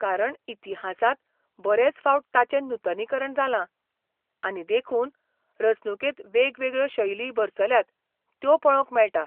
कारण इतिहासांत बरेच फावट ताचें नूतनीकरण जालां, आनी देखून, रचणुकेंत वेगवेगळ्यो शैली भरसल्यात त्यो पळोवंक मेळटा.